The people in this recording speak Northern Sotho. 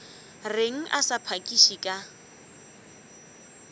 reng a sa phakiše ka